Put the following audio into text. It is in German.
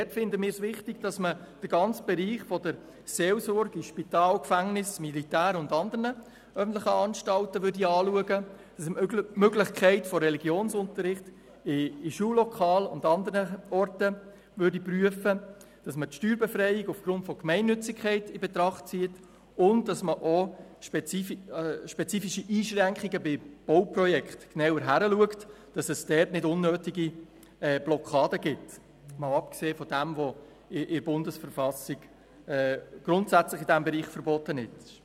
Dort finden wir es wichtig, den ganzen Bereich der Seelsorge in Spital, Gefängnis, Militär und anderen öffentlichen Anstalten zu betrachten, die Möglichkeit von Religionsunterricht in Schullokalen und anderen Orten zu prüfen, die Steuerbefreiung aufgrund von Gemeinnützigkeit in Betracht zu ziehen und auch bei spezifischen Einschränkungen für Bauprojekte genauer hinzuschauen, damit es dort nicht unnötige Blockaden gibt, zusätzlich zu den grundsätzlichen Verboten in der Bundesverfassung in diesem Bereich.